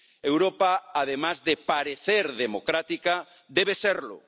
Europa, además de parecer democrática, debe serlo.